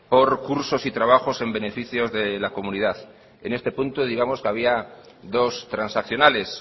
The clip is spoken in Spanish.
por cursos y trabajos en beneficios de la comunidad en este punto digamos que había dos transaccionales